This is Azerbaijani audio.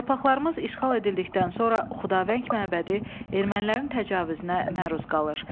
Torpaqlarımız işğal edildikdən sonra Xudavəng məbədi ermənilərin təcavüzünə məruz qalır.